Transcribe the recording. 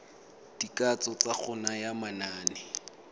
dikatso tsa go naya manane